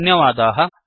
धन्यवादाः